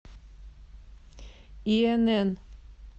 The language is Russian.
инн